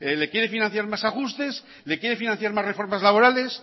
le quiere financiar más ajustes le quiere financiar más reformas laborales